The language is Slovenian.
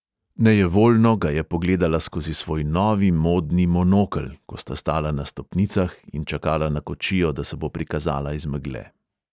Nejevoljno ga je pogledala skozi svoj novi modni monokel, ko sta stala na stopnicah in čakala na kočijo, da se bo prikazala iz megle.